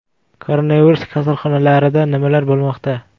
Koronavirus kasalxonalarida nimalar bo‘lmoqda?